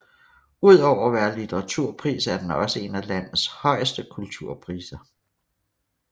Udover at være litteraturpris er den også en af landets højeste kulturpriser